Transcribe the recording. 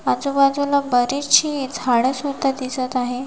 आजूबाजूला बरीचशी झाड सुद्धा दिसत आहेत.